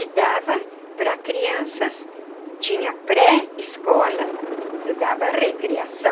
E dava para crianças, tinha pré escola, eu dava recriação.